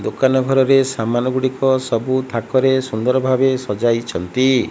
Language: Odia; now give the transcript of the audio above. ଦୋକାନ ଘରରେ ସାମାନ ଗୁଡ଼ିକ ସବୁ ଥାକରେ ସୁନ୍ଦର୍ ଭାବେ ସଜାଇଛନ୍ତି।